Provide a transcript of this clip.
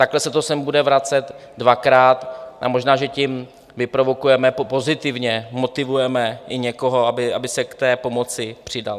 Takhle se to sem bude vracet dvakrát a možná že tím vyprovokujeme pozitivně, motivujeme i někoho, aby se k té pomoci přidal.